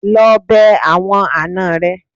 Lọ bẹ àwọn àna rẹ.